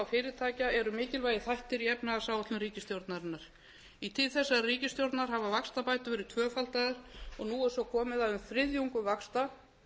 fyrirtækja eru mikilvægir þættir í efnahagsáætlun ríkisstjórnarinnar í tíð þessarar ríkisstjórnar hafa vaxtabætur verið tvöfaldaðar og nú er svo komið að um þriðjungur vaxta